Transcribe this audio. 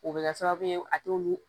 O bɛ kɛ sababu ye a t'olu